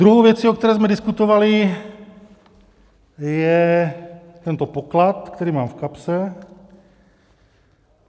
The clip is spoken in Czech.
Druhou věcí, o které jsme diskutovali, je tento poklad, který mám v kapse.